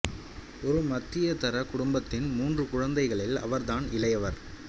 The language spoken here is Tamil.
ஒரு மத்தியதர குடும்பத்தின் மூன்று குழந்தைகளில் அவர் தான் இளையவர்